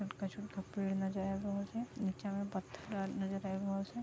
खजूर के पेड़ नजर आब रहल छै नीचा में पत्थर आ नजर आब रहल छै।